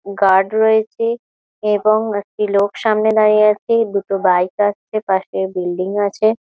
Guard রয়েছে এবং একটি লোক সামনে দাঁড়িয়ে আছে ।দুটো বাইক আছে পাশে বিল্ডিং আছে ।